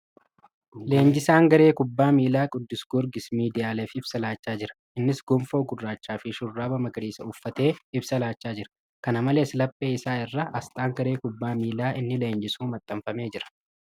Leenjisaan garee kubbaa miilaa ' Qiddus Giyoorgis ' miidiyaaleef ibsa laachaa jira. Innis gonfoo gurraacha fi shurraaba magariisa uffatee ibsa laachaa jira. Kana malees, laphee isaa irra asxaan garee kubbaa miilaa inni leenjisuu maxxanfamee jira.